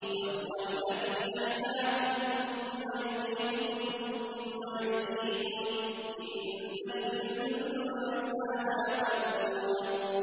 وَهُوَ الَّذِي أَحْيَاكُمْ ثُمَّ يُمِيتُكُمْ ثُمَّ يُحْيِيكُمْ ۗ إِنَّ الْإِنسَانَ لَكَفُورٌ